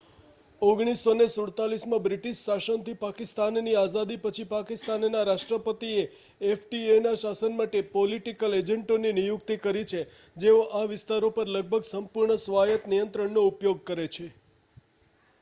"1947માં British શાસનથી પાકિસ્તાનની આઝાદી પછી પાકિસ્તાનના રાષ્ટ્રપતિએ એફ.ટી.એ.ના શાસન માટે "પોલિટિકલ એજન્ટો" ની નિયુક્તિ કરી છે જેઓ આ વિસ્તારો પર લગભગ સંપૂર્ણ સ્વાયત નિયંત્રણનો ઉપયોગ કરે છે.